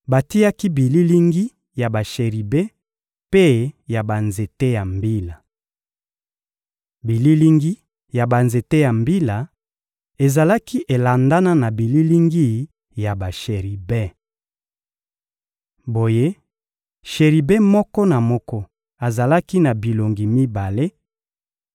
batiaki bililingi ya basheribe mpe ya banzete ya mbila. Bililingi ya banzete ya mbila ezalaki elandana na bililingi ya basheribe. Boye, Sheribe moko na moko azalaki na bilongi mibale: